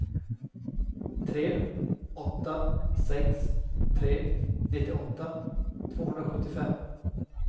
tre åtta sex tre nittioåtta tvåhundrasjuttiofem